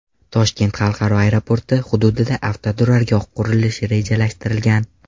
Toshkent xalqaro aeroporti hududida avtoturargoh qurilishi rejalashtirilgan.